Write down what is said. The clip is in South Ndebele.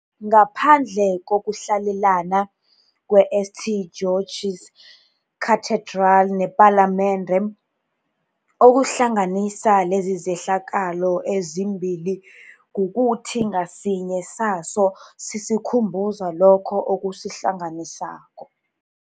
Ngaphandle kokuhlalelana kwe-St. George's Cathedral nePalamende, okuhlanganisa lezizehlakalo ezimbili kukuthi ngasinye sazo sisikhumbuza lokho okusihlanganisako